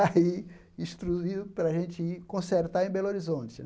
Aí, instruiu para gente ir consertar em Belo Horizonte, né?